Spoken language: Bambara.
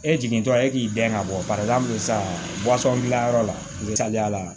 E jigintɔla e k'i dɛn ka bɔ para min sa dilanyɔrɔ la misaliyala